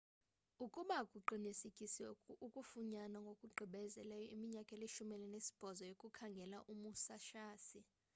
ukuba kuqinisekisiwe ukufunyanwa ngokugqibeleyo iminyaka elishumi elinesibhozo yokukhangela umusashi